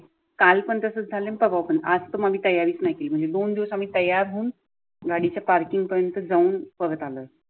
काल पण तसं झालं परवापन आज तर मग तयारीच नाही केली म्हणजे दोन दिवस आम्ही तयार होऊन गाडीची पार्किंगपर्यंत जाऊन परत आलं.